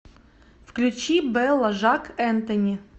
включи белла жак энтони